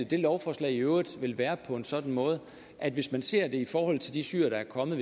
det lovforslag i øvrigt vil være på en sådan måde at hvis man ser det i forhold til de syrere der er kommet